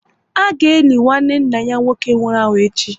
A ga eli nwanne nna ya nwoke nwụrụ anwụ echi